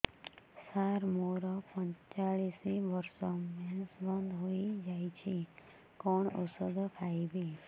ସାର ମୋର ପଞ୍ଚଚାଳିଶି ବର୍ଷ ମେନ୍ସେସ ବନ୍ଦ ହେଇଯାଇଛି କଣ ଓଷଦ ଖାଇବି